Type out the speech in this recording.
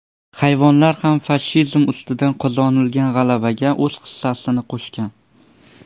Hayvonlar ham fashizm ustidan qozonilgan g‘alabaga o‘z hissasini qo‘shgan.